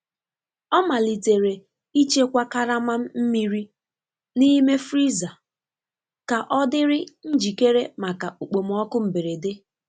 Ọ malitere ịchekwa karama mmiri n'ime friza ka ọ dịrị njikere maka okpomọkụ mberede.